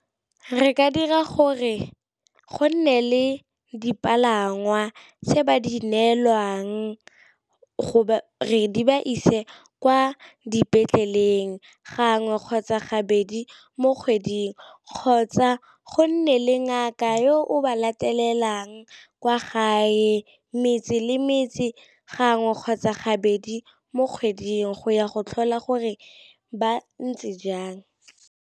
Re ka dira gore go nne le dipalangwa tse ba di neelwang gore di ba ise kwa dipetleleng gangwe kgotsa gabedi mo kgweding, kgotsa go nne le ngaka yo o ba latelelang kwa gae metse le metse gangwe kgotsa gabedi mo kgweding go ya go tlhola gore ba ntse jang.